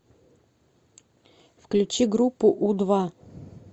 включи группу у два